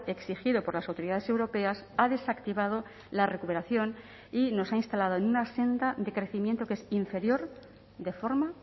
exigido por las autoridades europeas ha desactivado la recuperación y nos ha instalado en una senda de crecimiento que es inferior de forma